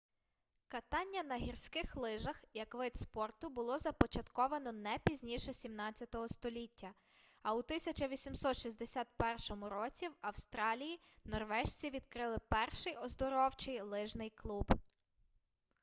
катання на гірських лижах як вид спорту було започатковано не пізніше 17 століття а у 1861 році в австралії норвежці відкрили перший оздоровчий лижний клуб